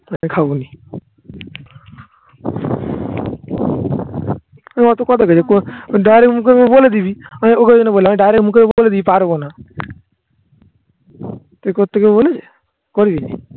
খাবোই এ অত কথা কইছে direct মুখের উপর বলে দিবি. আমি ওকে ওই জন্য বললাম. আমি direct মুখের উপর বলে দেবো পারবো না এরপর থেকে বলিস